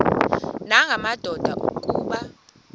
nanga madoda kuba